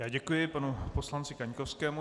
Já děkuju panu poslanci Kaňkovskému.